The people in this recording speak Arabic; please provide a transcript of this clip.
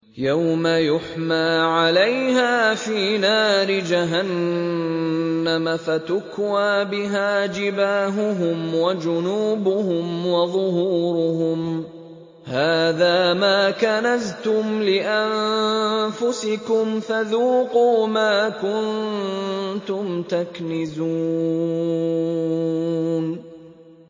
يَوْمَ يُحْمَىٰ عَلَيْهَا فِي نَارِ جَهَنَّمَ فَتُكْوَىٰ بِهَا جِبَاهُهُمْ وَجُنُوبُهُمْ وَظُهُورُهُمْ ۖ هَٰذَا مَا كَنَزْتُمْ لِأَنفُسِكُمْ فَذُوقُوا مَا كُنتُمْ تَكْنِزُونَ